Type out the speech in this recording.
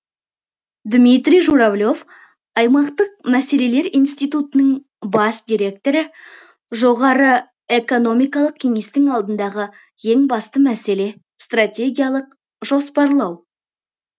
дмитрий журавлев аймақтық мәселелер институтының бас директоры жоғары экономикалық кеңестің алдындағы ең басты мәселе стратегиялық жоспарлау